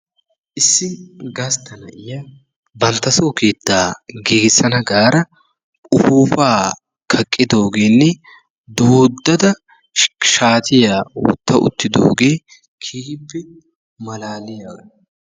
Issi gastta na"iya banttasoo keettaa giigissana gaada ufuuppaa kaqqidoogeenne doiddada shaatiya wotta uttidoogee keehippe malaaliyaga.